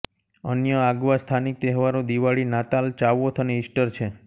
અન્ય આગવા સ્થાનિક તહેવારો દિવાળી નાતાલ ચાવોથ અને ઇસ્ટર છે